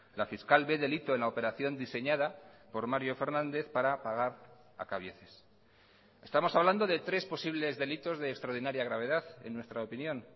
la fiscal ve delito en la operación diseñada por mario fernández para pagar a cabieces estamos hablando de tres posibles delitos de extraordinaria gravedad en nuestra opinión